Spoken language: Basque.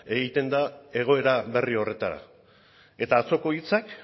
egiten da egoera berri horretara eta atzoko hitzak